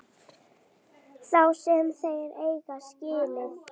Þá sem þeir eiga skilið.